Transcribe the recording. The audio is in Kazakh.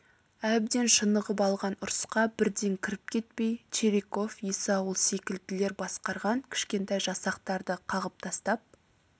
әбден шынығып алған ұрысқа бірден кіріп кетпей чириков есаул секілділер басқарған кішкентай жасақтарды қағып тастап